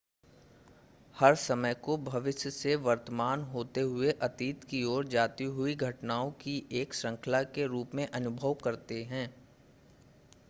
हम समय को भविष्य से वर्तमान होते हुए अतीत की ओर जाती हुई घटनाओं की एक श्रृंखला के रूप में अनुभव करते हैं